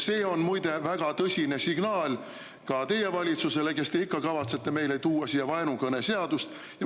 See on, muide, väga tõsine signaal ka teie valitsusele, kes te ikka kavatsete meile tuua siia vaenukõneseadust.